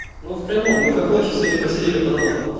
ну в прямом мы как лохи сегодня просидели по домам